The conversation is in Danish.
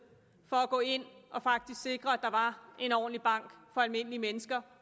for at gå ind og faktisk sikre at der var en ordentlig bank for almindelige mennesker